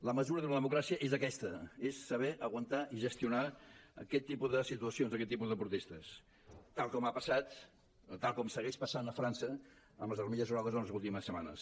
la mesura d’una democrà·cia és aquesta és saber aguantar i gestionar aquest tipus de situacions aquest tipus de protestes tal com segueix passant a frança amb els armilles grogues les últimes set·manes